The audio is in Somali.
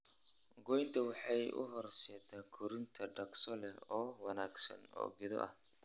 Goynta waxay u horseeddaa korriin dhakhso leh oo wanaagsan oo geedo ah.